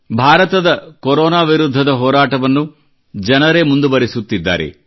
ಭಾರತದ ಕೊರೊನಾ ವಿರುದ್ಧದ ಹೋರಾಟವನ್ನು ಜನರೇ ಮುಂದುವರಿಸುತ್ತಿದ್ದಾರೆ